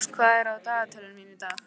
Rós, hvað er á dagatalinu mínu í dag?